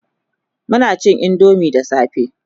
Muna cin indomie da safe